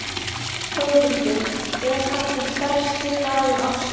Þórhildur: Er þetta stærsti dagur ársins?